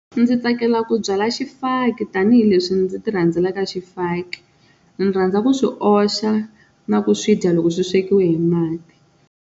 Ndzi tsakela ku byala xifaki tanihileswi ndzi ti rhandzela xifaki ndzi rhandza ku swi oxa na ku swi dya loko swi swekiwe hi mati.